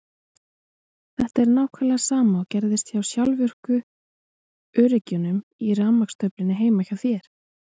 Þetta er nákvæmlega sama og gerist hjá sjálfvirku öryggjunum í rafmagnstöflunni heima hjá þér.